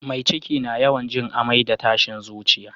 Mai ciki na yawan jin amai da tashin zuciya